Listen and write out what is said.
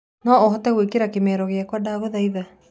noũhote gukiria kimeero giakwa ndagũthaĩtha